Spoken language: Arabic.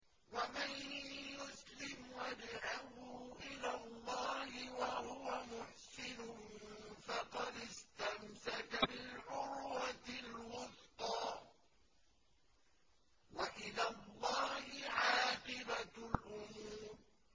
۞ وَمَن يُسْلِمْ وَجْهَهُ إِلَى اللَّهِ وَهُوَ مُحْسِنٌ فَقَدِ اسْتَمْسَكَ بِالْعُرْوَةِ الْوُثْقَىٰ ۗ وَإِلَى اللَّهِ عَاقِبَةُ الْأُمُورِ